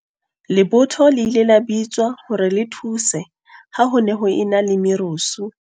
Lebotho le ile la bitswa hore le thuse ha ho ne ho e na le merusu.